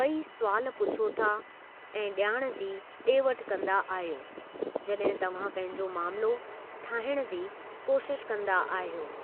ॿई सुवालु पुछो था ऐं जा॒णु जी डे॒ वठि कंदा आहियो जड॒हिं तव्हां पंहिंजो मामलो ठाहिणु जी कोशिश कंदा आहियो।